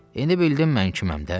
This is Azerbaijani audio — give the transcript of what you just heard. İndi bildim mən kiməm də?